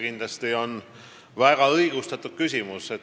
Kindlasti on see väga õigustatud küsimus.